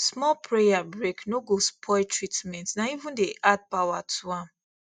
small prayer break no go spoil treatment na even dey add power to am